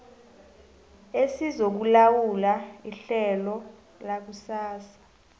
esizokulawula ihlelo lakusasa